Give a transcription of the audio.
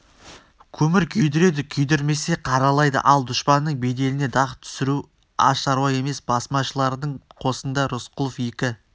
көмір күйдіреді күйдірмесе қаралайды ал дұшпанның беделіне дақ түсіру аз шаруа емес басмашылардың қосында рысқұловтың екі